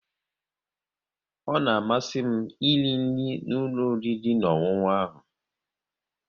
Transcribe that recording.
Ọ na amasị m iri nri n'ụlọ oriri na ọṅụṅụ ha